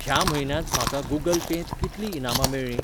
ह्या म्हयन्यांत म्हाका गूगल पेंत कितलीं इनामां मेळ्ळी?